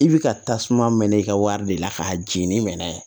I bi ka tasuma mɛnɛ i ka wari de la k'a jeni n'a ye